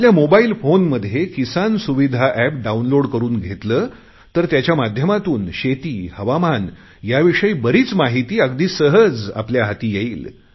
आपल्या मोबाईल फोनमध्ये Kisan Suvidha app download करुन घेतले तर त्याच्या माध्यमातून शेती हवामान याविषयी बरीच माहिती अगदी सहज आपल्या हाती येईल